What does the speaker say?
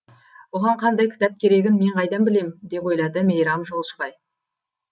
оған қандай кітап керегін мен қайдан білем деп ойлады мейрам жолшыбай